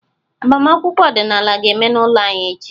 Agbamakwụkwọ ọdịnala ga-eme n'ụlọ anyị echi.